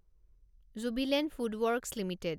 Jubilant FoodWorks limited